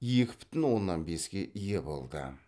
екі бүтін оннан беске ие болды